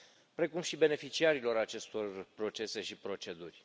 precum și beneficiarilor acestor procese și proceduri.